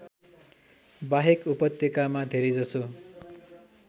बाहेक उपत्यकामा धेरैजसो